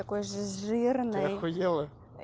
такой жирный ты ахуело